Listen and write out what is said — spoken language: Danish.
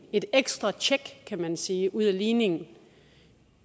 et ekstra tjek kan man sige ud af ligningen